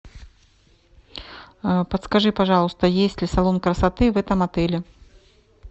подскажи пожалуйста есть ли салон красоты в этом отеле